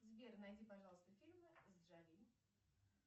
сбер найди пожалуйста фильмы с джоли